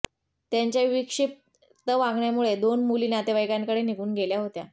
त्यांच्या विक्षिप्त वागण्यामुळे दोन मुली नातेवाईकांकडे निघून गेल्या होत्या